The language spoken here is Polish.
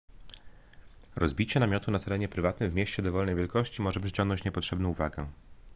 rozbicie namiotu na terenie prywatnym w mieście dowolnej wielkości może przyciągnąć niepotrzebną uwagę